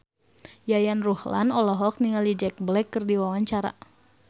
Yayan Ruhlan olohok ningali Jack Black keur diwawancara